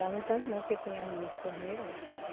Lá no tanque não, que tinha ali os torneiros, né?